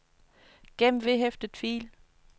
gem vedhæftet fil